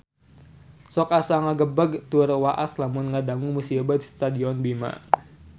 Sok asa ngagebeg tur waas lamun ngadangu musibah di Stadion Bima